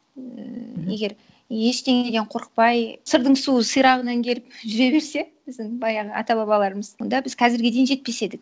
ііі егер ештеңеден қорықпай сырдың суы сирағынан келіп жүре берсе біздің баяғы ата бабаларымыз онда біз қазірге дейін жетпес едік